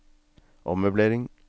ommøblering